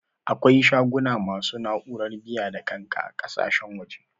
Akwai shaguna masu na'urar biya-da-kanka ƙakasashen waje.